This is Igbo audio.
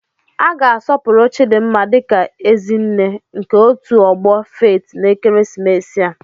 A ga-asọpụrụ Chidinma dị ka "Ezi nne" nke otu ọgbọ Faith n'ekeresimesi a."